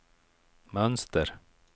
mönster